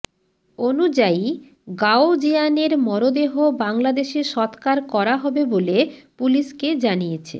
অনুযায়ী গাওজিয়ানের মরদেহ বাংলাদেশে সৎকার করা হবে বলে পুলিশকে জানিয়েছে